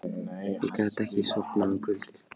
Ég gat ekki sofnað um kvöldið.